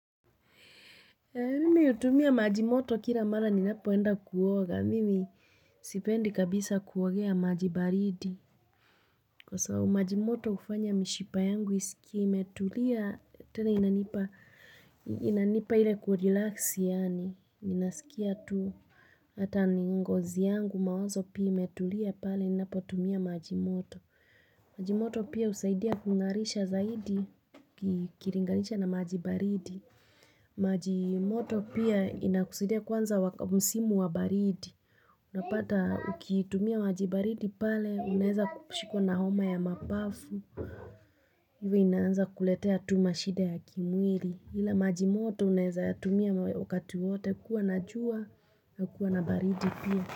Mimi hutumia majimoto kila mara ninapoenda kuoga. Mimi sipendi kabisa kuogea maji baridi. Kwa sababu majimoto hufanya mishipa yangu isikie imetulia. Tena inanipa ile kurelaxi yani. Inasikia tu hata ningozi yangu mawazo pia imetulia pale ninapo tumia majimoto. Majimoto pia husaidia kungarisha zaidi ukilinganisha na majibaridi. Majimoto pia inakusaidia kwanza msimu wa baridi Unapata ukitumia maji baridi pale Unaeza kushiko na homa ya mapafu Iwe inaanza kuletea tumashida ya kimwili ila majimoto unaeza tumia wakati wote Kua na jua na kua na baridi pia.